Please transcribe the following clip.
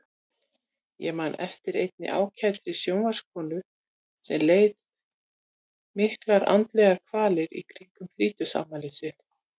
Ég man eftir einni ágætri sjónvarpskonu sem leið miklar andlegar kvalir í kringum þrítugsafmælið sitt.